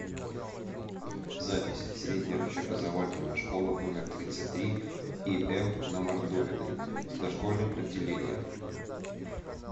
запись средняя общеобразовательная школа номер тридцать три им на мордовиной с дошкольным отделением